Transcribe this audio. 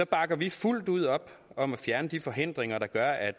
bakker vi fuldt ud op om at fjerne de forhindringer der gør at